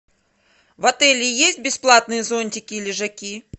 в отеле есть бесплатные зонтики и лежаки